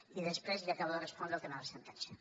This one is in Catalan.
i després li acabo de respondre el tema de la sentència